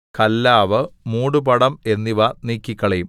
കല്ലാവ് മൂടുപടം എന്നിവ നീക്കിക്കളയും